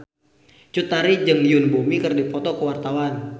Cut Tari jeung Yoon Bomi keur dipoto ku wartawan